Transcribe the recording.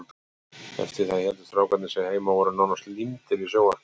Eftir það héldu strákarnir sig heima og voru nánast límdir við sjónvarpið.